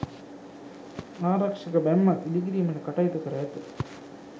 ආරක්‍ෂක බැම්මක් ඉදිකිරීමට කටයුතු කර ඇත.